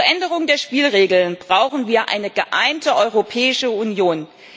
Zur Änderung der Spielregeln brauchen wir eine geeinte Europäische Union.